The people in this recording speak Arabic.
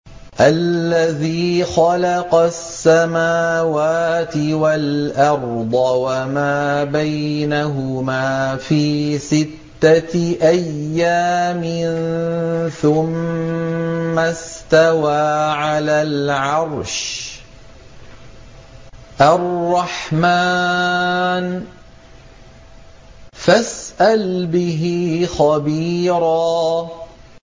الَّذِي خَلَقَ السَّمَاوَاتِ وَالْأَرْضَ وَمَا بَيْنَهُمَا فِي سِتَّةِ أَيَّامٍ ثُمَّ اسْتَوَىٰ عَلَى الْعَرْشِ ۚ الرَّحْمَٰنُ فَاسْأَلْ بِهِ خَبِيرًا